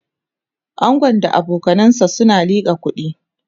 angon da abokanansa na liƙa kuɗi